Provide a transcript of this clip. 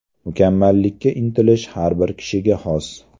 Mukammallikka intilish har bir kishiga xos.